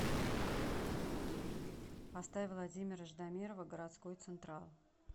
поставь владимира ждамирова городской централ